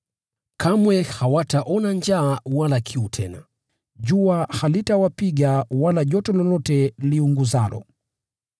Kamwe hawataona njaa wala kiu tena. Jua halitawapiga wala joto lolote liunguzalo.